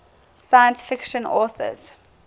science fiction authors